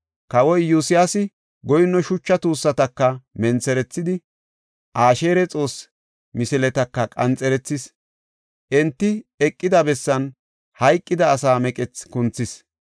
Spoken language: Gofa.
Kawoy Iyosyaasi goyinno shucha tuussataka mentherethidi, Asheera xoosse misiletaka qanxerethis. Enti eqida bessan hayqida asa meqethi kunthis.